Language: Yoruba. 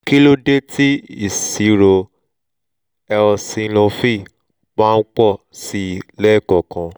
kí ló dé tí ìṣirò eosinophil máa ń pọ̀ sí i lẹ́ẹ̀kọ̀ọ̀kan?